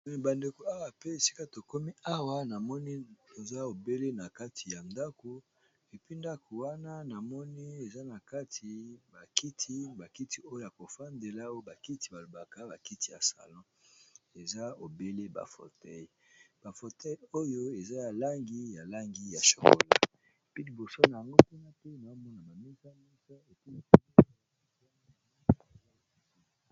Me ba ndeko awa pe esika to komi awa na moni toza obele na kati ya ndako et puis ndaku wana na moni eza na kati ba kiti, ba kiti oyo ya ko vandela oyo ba kiti ba lobaka ba kiti ya salon. Eza obele ba fauteuils, ba fauteuils oyo eza ya langi, ya langi ya chocola pe liboso n'ango nazo mona....